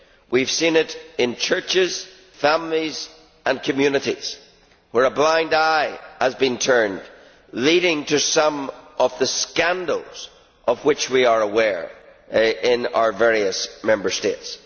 We have seen it in churches, families and communities, where a blind eye has been turned, leading to some of the scandals of which we are aware in our various Member States.